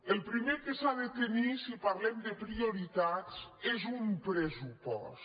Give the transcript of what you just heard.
el primer que s’ha de tenir si parlem de prioritats és un pressupost